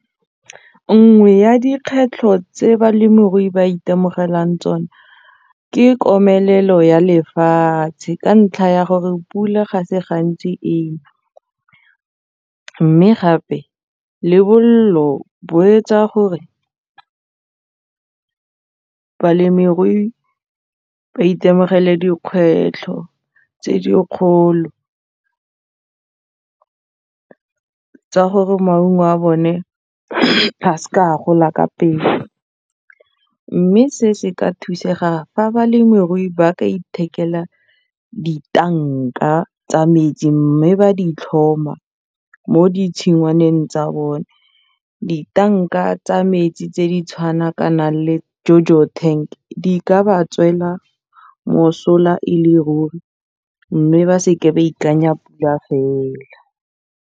Nngwe ya tse balemirui ba itemogelang tsone ke komelelo ya lefatshe ka ntlha ya gore pula ga se gantsi mme gape le bolelo bo etsa gore balemirui ba itemogele dikgwetlho tse dikgolo gore maungo a bone a s'ka a gola ka pelo mme se se ka thusega fa balemirui ba ka ithekela ditanka tsa metsi mme ba di tlhoma mo ditshingwaneng tsa bone, ditanka tsa metsi tse di tshwanakanang le jojo tank di ka ba tswela mosola e le ruri mme ba se ke ba ikanya pula fela.